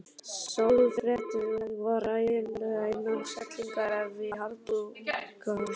Sjálfsréttlætingin var ævinlega innan seilingar ef í harðbakka sló.